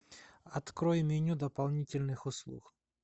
открой меню дополнительных услуг